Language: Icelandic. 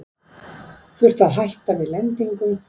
Þurfti að hætta við lendingu